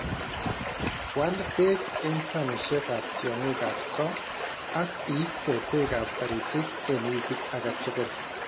Wal beek eng' sanishekab tyong'ikap ko ak iiste beekab taritik eng' wikit age tugul